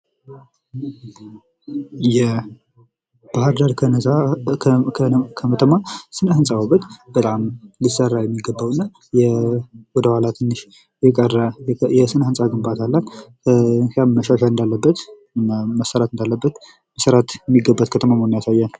የባህርዳር ከተማ የስነ ህንፃ ውበት በጣም ሊሰራ የሚገባውና ወደ ኋላ ትንሽ የቀረ የስነ ህንፃ ግንባታ አላት። ያም መሻሻል እንዳለበት መሰራት እንዳለበት መሰራት የሚገባት ከተማ መሆኑን ያሳያል።